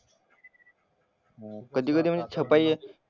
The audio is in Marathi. कधी कधी म्हणजे छपाई,